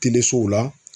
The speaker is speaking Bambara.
la